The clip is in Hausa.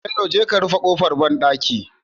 Bello je ka rufe kofar banɗaki